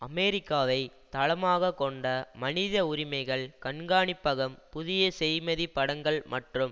அமெரிக்காவை தளமாக கொண்ட மனித உரிமைகள் கண்காணிப்பகம் புதிய செய்மதி படங்கள் மற்றும்